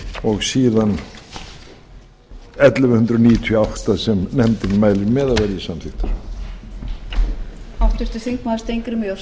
og síðan ellefu hundruð níutíu og átta sem nefndin mælir með að verði samþykktar